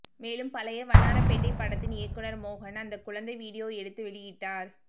மேலும் பழைய வண்ணாரப்பேட்டை படத்தின் இயக்குனர் மோகன் அந்த குழந்தை வீடியோ எடுத்து வெளியிட்டார்